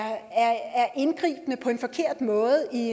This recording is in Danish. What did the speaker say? indgribende på en forkert måde i